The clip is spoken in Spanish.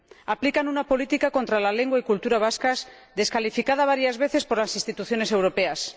Aplican una política contra la lengua y la cultura vascas descalificada varias veces por las instituciones europeas.